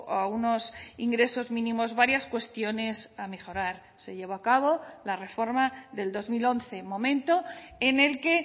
a unos ingresos mínimos varias cuestiones a mejorar se llevó a cabo la reforma del dos mil once momento en el que